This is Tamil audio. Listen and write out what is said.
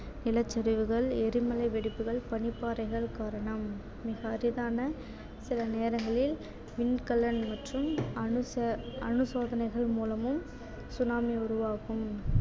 நிலச்சரிவுகள், எரிமலை வெடிப்புகள், பனிப்பாறைகள் காரணம் மிக அரிதான சில நேரங்களில் மின்கலன் மற்றும் அனுச~ அணு சோதனைகள் மூலமும் tsunami உருவாகும்